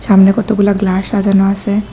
সামনে কতগুলা গ্লাস সাজানো আসে।